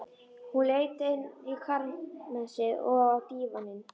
Hún leit inn í kamersið, og á dívaninn.